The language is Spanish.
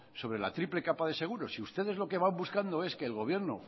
sobre la triple capa de seguro si ustedes lo que van buscando es que el gobierno